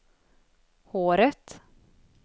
håret